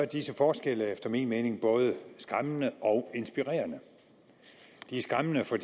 disse forskelle efter min mening både skræmmende og inspirerende de er skræmmende for